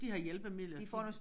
De har hjælpemidler de